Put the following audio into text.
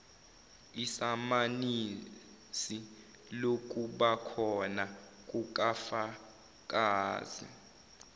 isamanisi lokubakhona kukafakazi